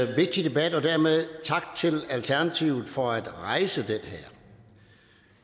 vigtig debat og dermed tak til alternativet for at rejse den